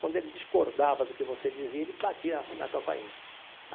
Quando ele discordava do que você dizia, ele batia na campainha.